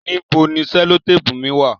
Níbò ni sellotapu mi wà?